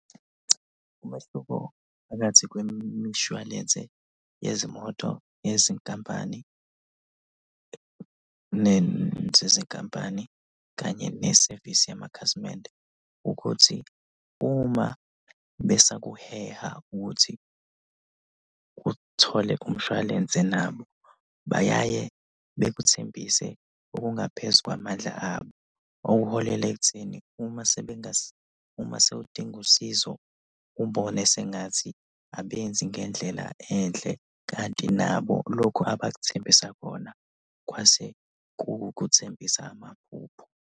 Umehluko phakathi kwemishwalense yezimoto ngezinkampani zezinkampani kanye nesevisi yamakhasimende ukuthi, uma besakuheha ukuthi uthole umshwalense nabo. Bayaye bekuthembise okungaphezu kwamandla abo. Okuholela ekutheni uma sewudinga usizo ubone sengathi abenzi ngendlela enhle kanti nabo lokhu abakuthembisa khona kwase ku ukukwethembisa amaphupho.